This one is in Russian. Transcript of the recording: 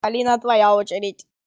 алина твоя очередь